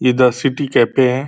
इधर city cafe है।